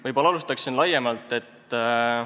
Võib-olla alustan laiemalt.